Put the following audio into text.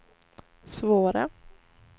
svåra